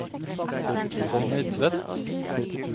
Connie Tvedt